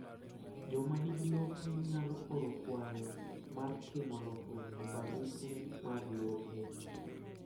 Joma nigi lope nyalo oro kwayo mar timo lokruok e barupe mag lope.